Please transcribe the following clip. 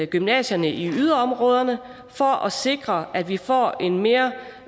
gymnasierne i yderområderne for at sikre at vi får en mere